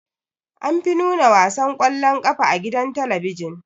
Anfi nuna wasan kwallon ƙafa a gidan talabijin.